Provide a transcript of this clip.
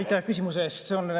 Aitäh küsimuse eest!